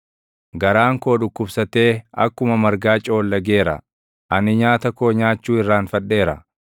Garaan koo dhukkubsatee akkuma margaa coollageera; ani nyaata koo nyaachuu irraanfadheera.